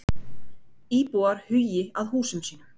Íbúar hugi að húsum sínum